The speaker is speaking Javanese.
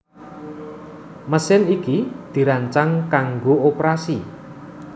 Mesin iki dirancang kanggo oprasi